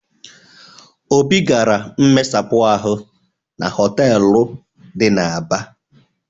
Obi gara mmesapụ ahụ na họtelụ dị n'Aba.